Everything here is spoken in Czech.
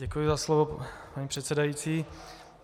Děkuji za slovo, paní předsedající.